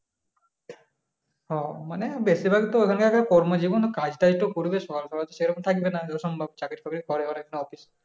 হ্যাঁ মানে বেশিরভাগ তো ওদের কর্মজীবন কাজটাজ তো করবে সকাল বেলা সম্ভব চাকরি বাকরি করে অফিস